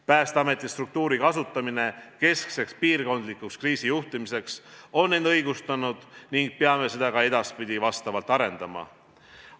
Päästeameti struktuuri kasutamine keskseks piirkondlikuks kriisijuhtimiseks on end õigustanud ning peame seda ka edaspidi vastavalt arendama.